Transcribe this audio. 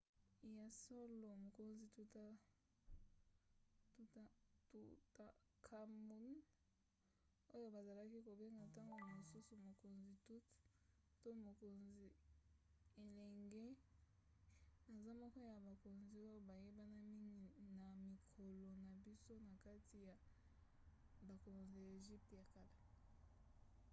ya solo! mokonzi tutankhamun oyo bazalaki kobenga ntango mosusu mokonzi tut to mokonzi ya elenge aza moko ya bakonzi oyo bayebana mingi na mikolo na biso na kati ya bakonzi ya egypte ya kala